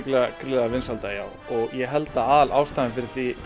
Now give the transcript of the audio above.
gríðarlega vinsælda og ég held að aðalástæðan fyrir því